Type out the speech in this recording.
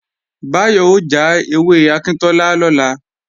Báyọ̀ ó já ewé akíntọ́lá lọ́la